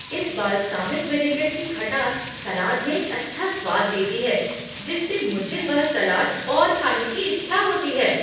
इस balsamic vinaigrette की खटास सलाद में एक अच्छा स्वाद देती है जिससे मुझे वह सलाद और खाने की इच्छा होती है।